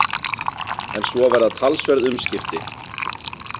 En svo verða talsverð umskipti.